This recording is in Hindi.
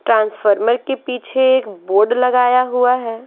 ट्रांसफार्मर के पीछे एक बोर्ड लगाया हुआ है।